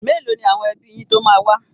Mélòó ni àwọn ẹbí yín tó máa wá?